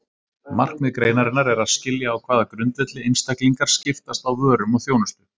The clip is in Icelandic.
Markmið greinarinnar er að skilja á hvaða grundvelli einstaklingar skiptast á vörum og þjónustu.